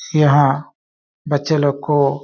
यहाँ बच्चे लोग को --